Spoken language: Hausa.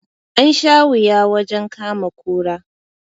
An sha wuya wajen kama kura